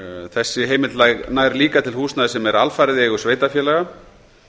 þessi heimild nær líka til húsnæðis sem er alfarið í eigu sveitarfélaga